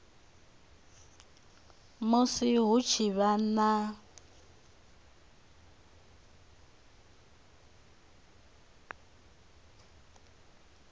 musi hu tshi vha na